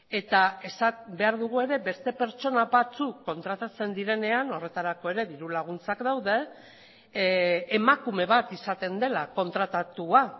eta esan behar dugu ere beste pertsona batzuk kontratatzen direnean horretarako ere diru laguntzak daude emakume bat izaten dela kontratatua